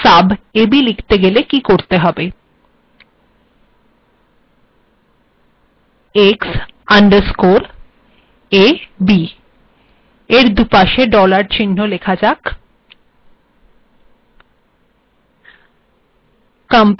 তাহেল x underscore ab িলখেত েগেল িক করেত হেব a ab দুপােশ ডলার্ িচহ্ন েলখা যাক